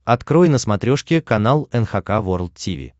открой на смотрешке канал эн эйч кей волд ти ви